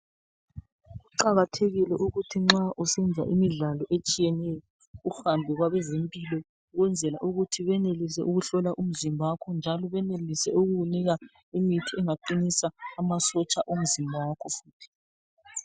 Kuqakathekile ukuthi nxa usenza imidlalo etshiyeneyo uhambe kwabezempilo ukwenzela ukuthi benelise ukuhlola umzimba wakho njalo benelise ukukunika imithi engaqinisa amasotsha omzimba wakho futhi.